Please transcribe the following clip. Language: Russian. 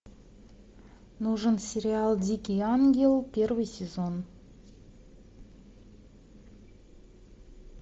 нужен сериал дикий ангел первый сезон